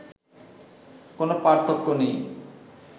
কোনো পার্থক্য নেই